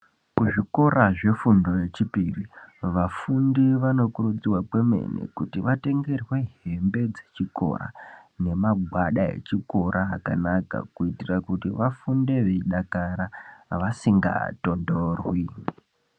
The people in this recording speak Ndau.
Mu zvikora zvefundo ye chipiri vafundi vano kurudzirwa kwemene kuti vatengerwe hembe dze chikora ne magwada echikora akanaka kuitira kuti vafunde veyi dakara vasinga tondorwi.